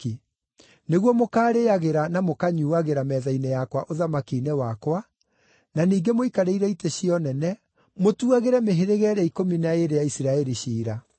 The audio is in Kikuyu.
nĩguo mũkarĩĩagĩra na mũkanyuuagĩra metha-inĩ yakwa ũthamaki-inĩ wakwa, na ningĩ mũikarĩire itĩ-cia-ũnene, mũtuagĩre mĩhĩrĩga ĩrĩa ikũmi na ĩĩrĩ ya Isiraeli ciira.